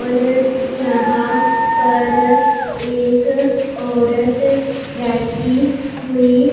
और यहां पर एक औरत बैठी हुई--